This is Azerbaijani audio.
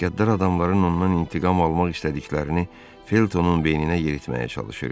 Qəddar adamların ondan intiqam almaq istədiklərini Feltonun beyninə yeritməyə çalışırdı.